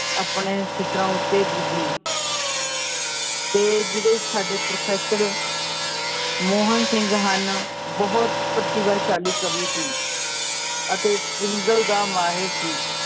ਆਪਣੇ ਸਿੱਖਰਾਂ ਉੱਤੇ ਪੁੱਜੀ ਤੇ ਜਿਹੜੇ ਸਾਡੇ professor ਮੋਹਨ ਸਿੰਘ ਹਨ ਬਹੁਤ ਪ੍ਰਤਿਭਾਸ਼ਾਲੀ ਕਵੀ ਸੀ ਅਤੇ ਪਿੰਗਲ ਦਾ ਮਾਹਰ ਸੀ